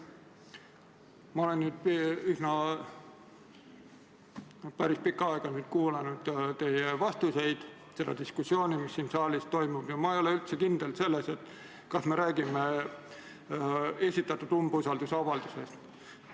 Ma olen nüüd päris pikka aega kuulanud teie vastuseid ja seda diskussiooni, mis siin saalis toimub, ja ma ei ole üldse kindel selles, kas me räägime esitatud umbusaldusavaldusest.